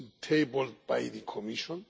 tabled by the Commission.